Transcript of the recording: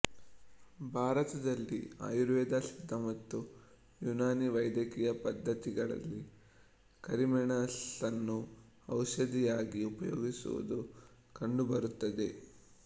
ಭಾರತದಲ್ಲಿ ಆಯುರ್ವೇದ ಸಿದ್ಧ ಮತ್ತು ಯುನಾನಿ ವೈದ್ಯಕೀಯ ಪದ್ಧತಿಗಳಲ್ಲಿ ಕರಿಮೆಣಸನ್ನು ಔಷಧಿಯಾಗಿ ಉಪಯೋಗಿಸುವುದು ಕಂಡುಬರುತ್ತದೆ